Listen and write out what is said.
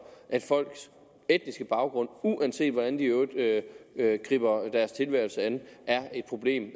at folks etniske baggrund uanset hvordan de i øvrigt griber deres tilværelse an er et problem